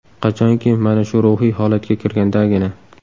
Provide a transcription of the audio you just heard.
Qachonki, mana shu ruhiy holatga kirgandagina.